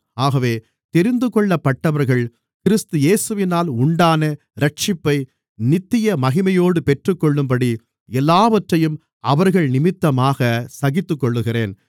ஆகவே தெரிந்துகொள்ளப்பட்டவர்கள் கிறிஸ்து இயேசுவினால் உண்டான இரட்சிப்பை நித்திய மகிமையோடு பெற்றுக்கொள்ளும்படி எல்லாவற்றையும் அவர்கள் நிமித்தமாக சகித்துக்கொள்ளுகிறேன்